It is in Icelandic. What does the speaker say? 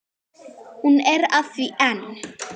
Hún er að því enn!